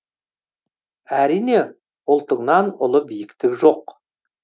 әрине ұлтыңнан ұлы биіктік жоқ